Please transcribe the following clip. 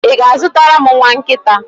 Ị ga-azụtara m nwa nkịta?